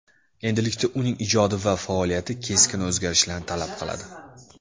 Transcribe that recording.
Endilikda uning ijodi va faoliyati keskin o‘zgarishlarni talab qiladi.